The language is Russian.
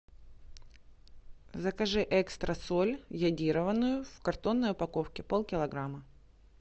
закажи экстра соль йодированную в картонной упаковке полкилограмма